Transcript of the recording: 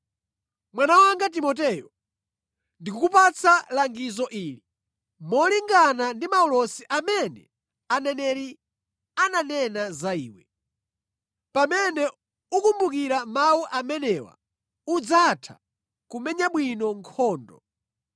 Mwana wanga Timoteyo, ndikukupatsa langizo ili molingana ndi maulosi amene aneneri ananena za iwe. Pamene ukumbukira mawu amenewa udzatha kumenya bwino nkhondo